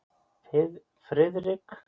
Friðrik velunnarann segja, konur og karla.